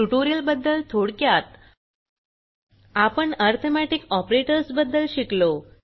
ट्युटोरियलबद्दल थोडक्यात आपण arithmetic operators बद्दल शिकलो